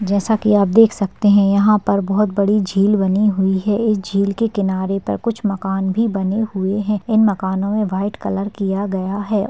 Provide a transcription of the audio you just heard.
जैसा कि आप देख सकते हैं यहां पर बहोत बड़ी झील बनी हुई है इस झील के किनारे पर कुछ मकान भी बने हुए हैं इन मकानों में व्हाइट कलर किया गया है।